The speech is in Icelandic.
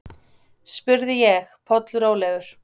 spurði ég, pollrólegur.